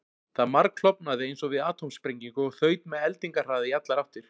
Það margklofnaði eins og við atómsprengingu og þaut með eldingarhraða í allar áttir.